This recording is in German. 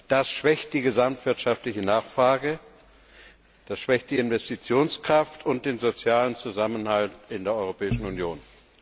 Das schwächt die gesamtwirtschaftliche Nachfrage, das schwächt die Investitionskraft und den sozialen Zusammenhalt in der Europäischen Union.